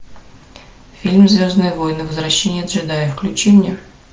фильм звездные войны возвращение джедая включи мне